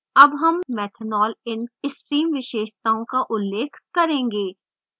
अब हम methanol in stream विशेषताओं का उल्लेख करेंगे